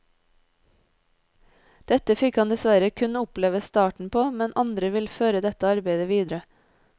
Dette fikk han dessverre kun oppleve starten på, men andre vil føre dette arbeidet videre.